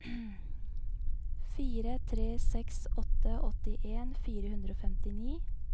fire tre seks åtte åttien fire hundre og femtini